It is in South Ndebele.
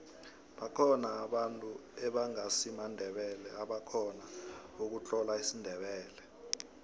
bakhona abantu ebangasimandebele ebakhona ukutlola isindebele